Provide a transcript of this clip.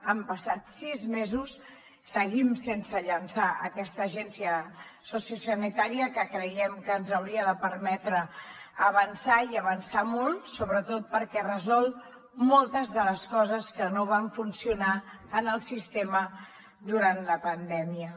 han passat sis mesos i seguim sense llançar aquesta agència sociosanitària que creiem que ens hauria de permetre avançar i avançar molt sobretot perquè resol moltes de les coses que no van funcionar en el sistema durant la pandèmia